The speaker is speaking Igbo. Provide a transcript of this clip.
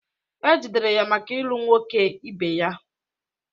E jidere ya maka ịlụ nwoke ebe ya